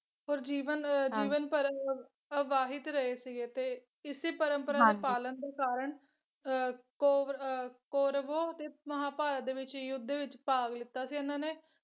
ਪੁਰ ਜੀਵਨ ਜੀਵਨ ਭਰ ਅਹ ਅਵਾਹਿਤ ਰਹੇ ਸੀਗੇ ਤੇ ਇਸੇ ਪਰੰਪਰਾ ਦੇ ਪਾਲਣ ਦੇ ਕਾਰਣ ਅਹ ਕੋਵ ਅਹ ਕੌਰਵੋਂ ਦੇ ਮਹਾਂਭਾਰਤ ਦੇ ਯੁੱਧ ਵਿੱਚ ਭਾਗ ਲੀਤਾ ਸੀ ਇਹਨਾਂ ਨੇ,